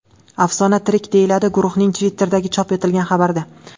Afsona tirik”, deyiladi guruhning Twitter’ida chop etilgan xabarda.